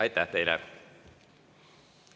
Aitäh teile!